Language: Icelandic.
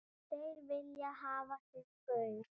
Þeir vilja hafa sinn gaur.